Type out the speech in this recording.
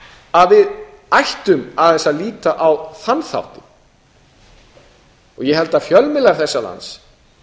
að við ættum aðeins að líta á þann þáttinn ég held að fjölmiðlar þessa lands